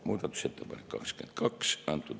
Muudatusettepanek nr 22.